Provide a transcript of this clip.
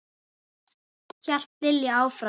hélt Lilla áfram.